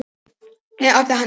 Síðan opnaði hann húsið.